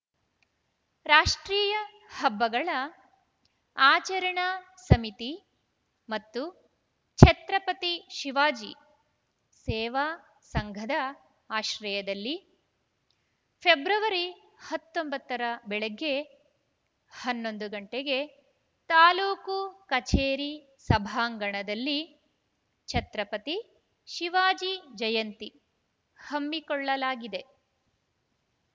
ರಾಷ್ಟ್ರೀಯ ಹಬ್ಬಗಳ ಆಚರಣಾ ಸಮಿತಿ ಮತ್ತು ಛತ್ರಪತಿ ಶಿವಾಜಿ ಸೇವಾ ಸಂಘದ ಆಶ್ರಯದಲ್ಲಿ ಫೆಬ್ರವರಿ ಹತ್ತೊಂಬತ್ತರ ಬೆಳಗ್ಗೆ ಹನ್ನೊಂದು ಗಂಟೆಗೆ ತಾಲೂಕು ಕಚೇರಿ ಸಭಾಂಗಣದಲ್ಲಿ ಛತ್ರಪತಿ ಶಿವಾಜಿ ಜಯಂತಿ ಹಮ್ಮಿಕೊಳ್ಳಲಾಗಿದೆ